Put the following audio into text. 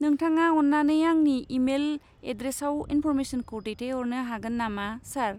नोंथाङा अन्नानै आंनि इमेल एड्रेसआव इन्फ'रमेसनखौ दैथायहरनो हागोन नामा, सार?